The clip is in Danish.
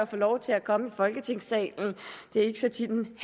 fornøjelse at komme i folketingssalen det er ikke så tit en